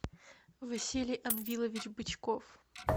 василий анвилович бычков